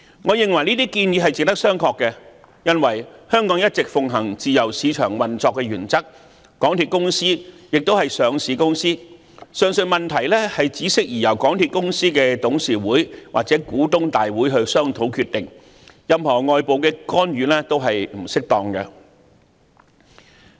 我認為這些建議值得商榷，因為香港一直奉行自由市場運作的原則，港鐵公司亦是上市公司，上述問題只適宜由港鐵公司董事局或股東大會商討決定，任何外部干預均是不適當的。